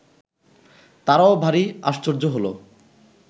তারাও ভারী আশ্চর্য হলো